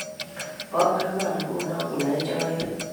bo ang'wan nguno koyae choe